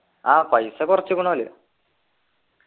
ആഹ് പൈസ കുറച്ചുക്കുണ് ഓല്